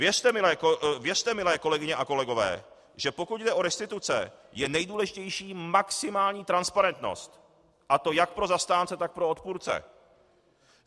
Věřte, milé kolegyně a kolegové, že pokud jde o restituce, je nejdůležitější maximální transparentnost, a to jak pro zastánce, tak pro odpůrce.